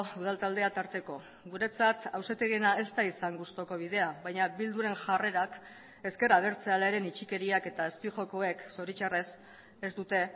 udal taldea tarteko guretzat auzitegiena ez da izan gustuko bidea baina bilduren jarrerak ezker abertzalearen itxikeriak eta azpijokoek zoritxarrez ez dute